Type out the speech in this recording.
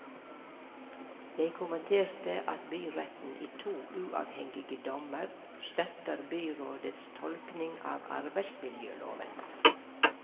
Jeg kommenterte at byretten i to uavhengige dommer støtter byrådets tolkning av arbeidsmiljøloven.